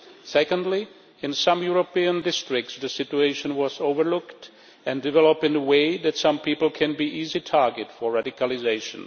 Secondly, in some European districts, the situation was overlooked and developed in such a way that some people can be easy targets for radicalisation.